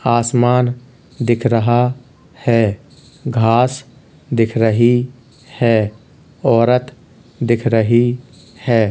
आसमान दिख रहा है घास दिख रहा है औरत दिख रही है।